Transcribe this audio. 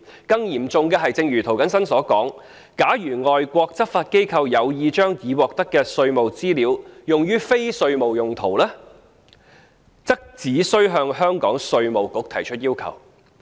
更嚴重的是，正如涂謹申議員所說，假如外國執法機構有意將已獲得的稅務資料用於非稅務用途，只須向香港稅務局提出要求。